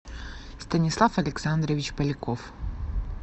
станислав александрович поляков